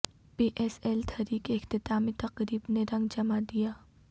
پی S L three کی اختتامی تقریب نے رنگ جما دیا